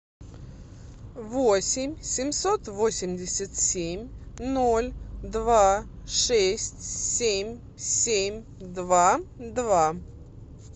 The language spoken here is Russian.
восемь семьсот восемьдесят семь ноль два шесть семь семь два два